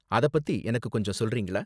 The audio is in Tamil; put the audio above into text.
அதை பத்தி எனக்கு கொஞ்சம் சொல்றீங்களா?